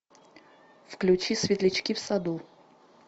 включи светлячки в саду